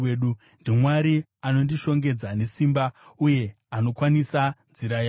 NdiMwari anondishongedza nesimba uye anokwanisa nzira yangu.